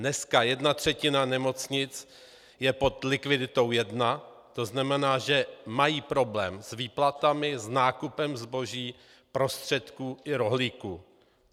Dneska jedna třetina nemocnic je pod likviditou 1, to znamená, že mají problém s výplatami, s nákupem zboží, prostředků i rohlíků.